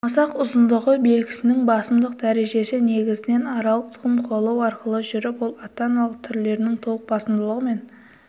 масақ ұзындығы белгісінің басымдылық дәрежесі негізінен аралық тұқым қуалау арқылы жүріп ол ата-аналық түрлерінің толық басымдылығымен